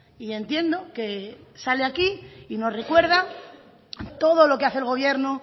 y entiendo que sale aquí y nos recuerda todo lo que hace el gobierno